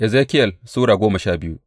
Ezekiyel Sura goma sha biyu